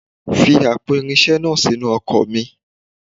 Fi àpò irinṣẹ́ iná sínú ọkọ̀ mi.